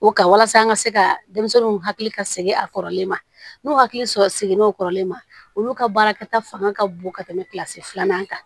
O ka walasa an ka se ka denmisɛnninw hakili ka segin a kɔrɔlen ma n'u hakili sɔrɔ sigi n'o kɔrɔlen ma olu ka baara kɛta fanga ka bon ka tɛmɛ kilasi filanan kan